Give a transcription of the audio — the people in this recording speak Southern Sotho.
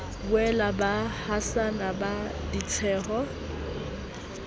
boela ba hasana ka ditsheho